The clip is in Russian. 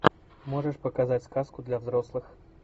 можешь показать сказку для взрослых